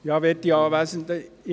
Kommissionspräsident der GSoK.